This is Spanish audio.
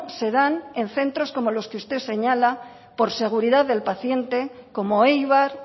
se dan en centros como los que usted señala por seguridad del paciente como eibar